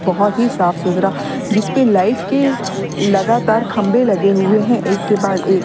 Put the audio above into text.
बहुत ही साफ सुथरा जिसपे लाइट के लगातार खंभे लगे हुए हैं एक बाद एक।